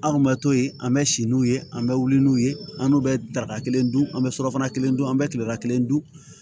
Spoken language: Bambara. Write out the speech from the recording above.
Anw bɛ to yen an bɛ si n'u ye an bɛ wuli n'u ye an n'u bɛ daraka kelen dun an bɛ surafana kelen dun an bɛ kilela kelen dun